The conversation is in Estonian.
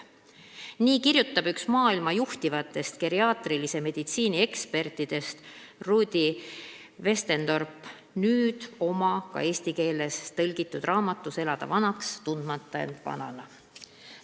" Nii kirjutab üks maailma juhtivatest geriaatrilise meditsiini ekspertidest Rudi Westendorp oma nüüd ka eesti keelde tõlgitud raamatus "Elada vanaks, tundmata end vanana".